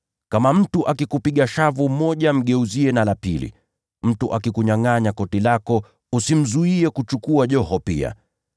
Kama mtu akikupiga shavu moja, mgeuzie na la pili pia. Mtu akikunyangʼanya koti lako, usimzuie kuchukua joho pia.